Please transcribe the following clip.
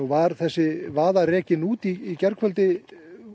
var þessi vaða rekin út í gærkvöldi